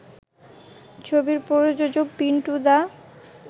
ছবির প্রযোজক পিন্টু দা